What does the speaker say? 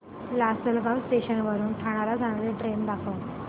Lasalgaon station वरून ठाण्याला जाणारी ट्रेन दाखव